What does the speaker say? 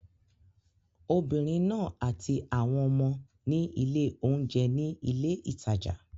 Obìnrin náà àti àwọn ọmọ ní ilé-oúnjẹ ní ilé ìtajà.